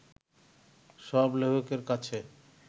সব লেখকের কাছে